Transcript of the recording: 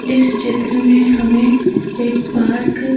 इस चित्र में हमें एक पार्क --